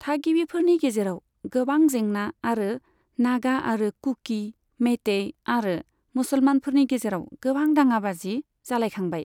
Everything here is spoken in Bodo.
थागिबिफोरनि गेजेराव गोबां जेंना, आरो नागा आरो कुकी, मेइतेई आरो मुसलमानफोरनि गेजेराव गोबां दाङाबाजि जालायखांबाय।